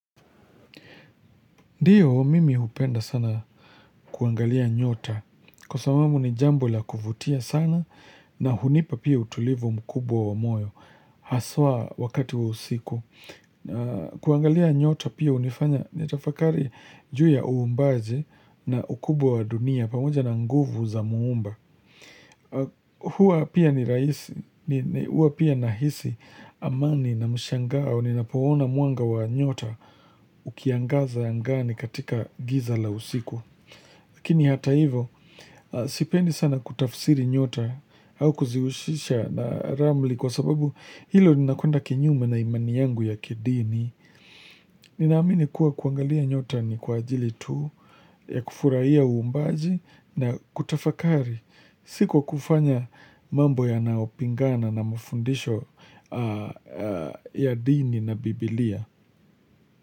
Ndio, mimi hupenda sana kuangalia nyota kwa sababu ni jambo la kuvutia sana na hunipa pia utulivu mkubwa wa moyo. Haswa wakati wa usiku. Kuangalia nyota pia hunifanya nitafakari juu ya uumbaji na ukubwa wa dunia pamoja na nguvu za muumba. Huwa pia ni rahisi, huwa pia nahisi amani na mshangao ninapoona mwanga wa nyota ukiangaza angani katika giza la usiku Lakini hata hivo, sipendi sana kutafsiri nyota au kuzihusisha na ramli kwa sababu hilo linakwenda kinyume na imani yangu ya kidini. Ninaamini kuwa kuangalia nyota ni kwa ajili tu, ya kufurahia uumbaji na kutafakari. Si kwa kufanya mambo yanayopingana na mafundisho ya dini na biblia.